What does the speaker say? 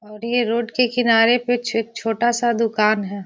और ये रोड के किनारे कुछ एक छे छोटा सा दुकान है|